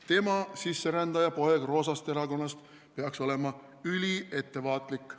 "Tema, sisserändaja poeg roosast erakonnast, peaks olema üliettevaatlik.